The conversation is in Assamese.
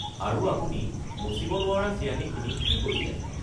আৰু আপুনি মচিব নোৱাৰা চিয়াহীখিনি কি কৰিলে?